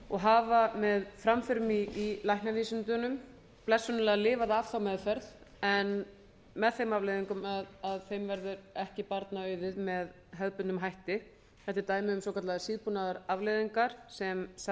og hafa með framförum í læknavísindunum blessunarlega lifað af þá meðferð en með þeim afleiðingum að þeim verður ekki barna auðið með hefðbundnum hætti þetta eru dæmi um svokallaðar síðbúnar afleiðingar sem